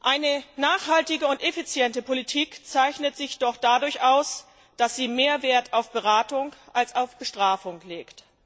Eine nachhaltige und effiziente Politik zeichnet sich doch dadurch aus, dass sie mehr Wert auf Beratung als auf Bestrafung legt.